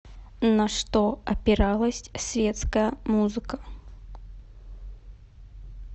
на что опиралась светская музыка